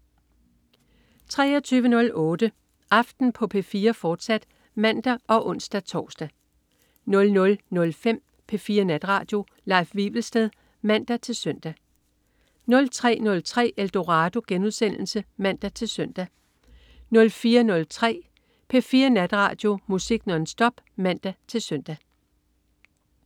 23.08 Aften på P4, fortsat (man og ons-tors) 00.05 P4 Natradio. Leif Wivelsted (man-søn) 03.03 Eldorado* (man-søn) 04.03 P4 Natradio. Musik nonstop (man-søn)